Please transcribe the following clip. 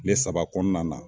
Kile saba kɔnɔna na